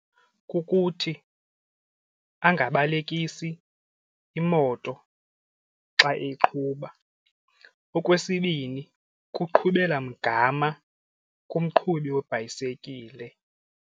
Kukuthi angabelekisi imoto xa eqhuba. Okwesibini, kuqhubela mgama komqhubi webhayisikile.